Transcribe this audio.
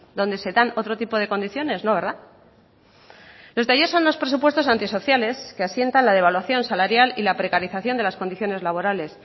donde se dan otro tipo de condiciones no verdad los de ayer son unos presupuestos antisociales que asientan la devaluación salarial y la precarización de las condiciones laborales